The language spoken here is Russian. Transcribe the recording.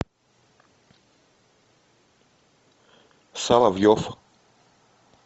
соловьев